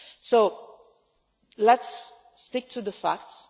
So let's stick to the facts.